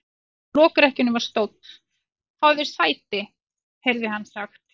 Hjá lokrekkjunni var stóll:-Fáðu þér sæti, heyrði hann sagt.